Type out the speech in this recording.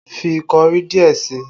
Fi kọrí díẹ̀ sí i!